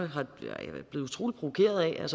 er